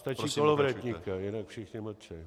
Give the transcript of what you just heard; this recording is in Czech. Stačí Kolovratníka, jinak všichni mlčí.